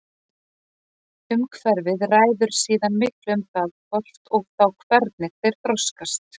Umhverfið ræður síðan miklu um það hvort og þá hvernig þeir þroskast.